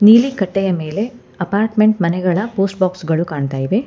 ನೀಲಿ ಕಟ್ಟೆಯ ಮೇಲೆ ಅಪಾರ್ಟ್ಮೆಂಟ್ ಮನೆಗಳ ಪೋಸ್ಟ್ ಬಾಕ್ಸ್ ಗಳು ಕಾಣ್ತಾ ಇವೆ.